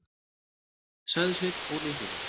sagði Sveinn Óli hrifinn.